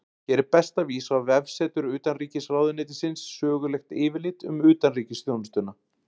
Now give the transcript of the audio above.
Hér er best að vísa á vefsetur Utanríkisráðuneytisins Sögulegt yfirlit um utanríkisþjónustuna.